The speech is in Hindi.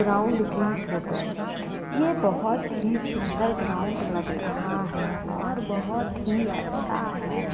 ग्राउंड की फ़ोटो ये बोहोत ही सुन्दर ग्राउंड लग रहा है और बोहोत ही अच्छा है।